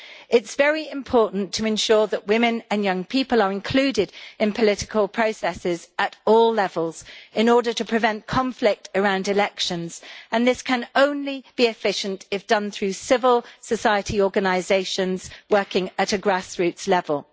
It is very important to ensure that women and young people are included in political processes at all levels in order to prevent conflict around elections, and this can only be efficient if done through civil society organisations working at a grassroots level.